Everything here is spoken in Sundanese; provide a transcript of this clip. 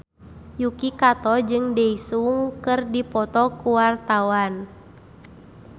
Yuki Kato jeung Daesung keur dipoto ku wartawan